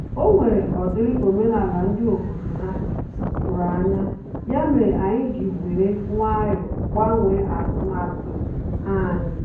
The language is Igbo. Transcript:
O nwere ọ dịrị omenala ndị obodo ha tụrụ anya, ya mere anyị ji were nwayọ gbanwee atụmatụ anyị